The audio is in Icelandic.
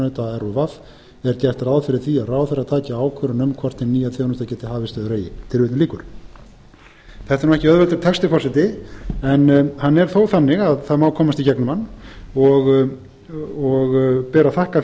keppinauta rúv er gert ráð fyrir því að ráðherra taki ákvörðun um hvort hin nýja þjónusta geti hafist eður eigi þetta er ekki auðveldur texti forseti en hann er þó þannig að það á komast í gegnum hann og ber að þakka